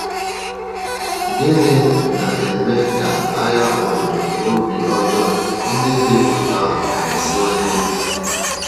Gịnị na - eme ka agha obodo obi ọjọọ ndị dị otú ahụ na - esiwanye ike?